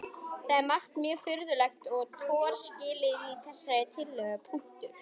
Það er margt mjög furðulegt og torskilið í þessari tillögu.